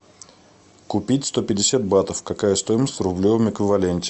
купить сто пятьдесят батов какая стоимость в рублевом эквиваленте